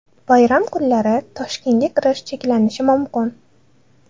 Bayram kunlari Toshkentga kirish cheklanishi mumkin.